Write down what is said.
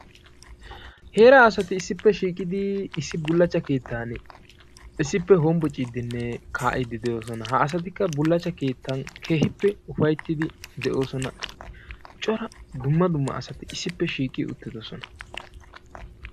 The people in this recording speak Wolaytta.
Heeraa asati issippe shiiqidi issi bullaachchaa keettaan issippe hombbocciidinne kaa'iidi de'oosona. Ha asatikka bullaachchaa keettaan keehippe ufayttidi de'oosona. Cora dumma dumma asati issippe shiiqqi uttiddossona.